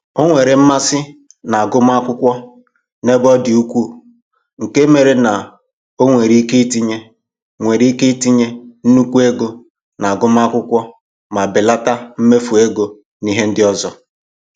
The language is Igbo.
O nwere mmasị na-agụmakwụkwọ n'ebe ọ dị ukwuu nke mere na o nwere ike itinye nwere ike itinye nnukwu ego n'agụmakwụkwọ ma belata mmefu ego n'ihe ndị ọzọ